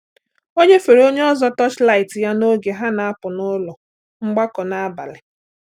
Ọ nyefere onye ọzọ torchlight ya n’oge ha na-apụ n’ụlọ mgbakọ n’abalị.